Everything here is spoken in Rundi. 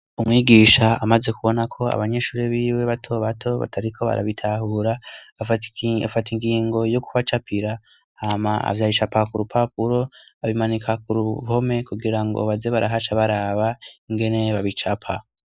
Umwigisha amaze kubonako abanyeshuri b'iwe bato bato batariko barabitahura, afata ingingo yo kubacapira hama ac'abicapa k'urupapuro abimanika k'uruhome, kugira ngo baze barahaca baraba ingene babicapa.